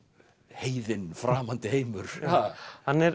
heiðinn framandi heimur hann er